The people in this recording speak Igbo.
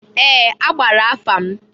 Ee! A gbara afa m.